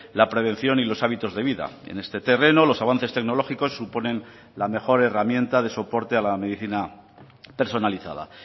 la prevención y los hábitos de vida en este terreno los avances tecnológicos suponen la mejor herramienta de soporte a la medicina personalizada